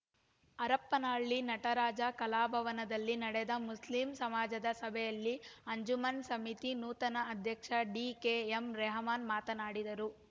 ಹರಪನಹಳ್ಳಿ ನಟರಾಜ ಕಲಾಭವನದಲ್ಲಿ ನಡೆದ ಮುಸ್ಲಿಂ ಸಮಾಜದ ಸಭೆಯಲ್ಲಿ ಅಂಜುಮನ್‌ ಸಮಿತಿ ನೂತನ ಅಧ್ಯಕ್ಷ ಡಿಕೆಎಂರೆಹಮಾನ್‌ ಮಾತನಾಡಿದರು